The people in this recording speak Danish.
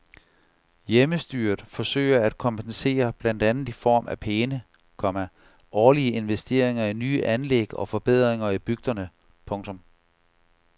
Hjemmestyret forsøger at kompensere blandt andet i form af pæne, komma årlige investeringer i nye anlæg og forbedringer i bygderne. punktum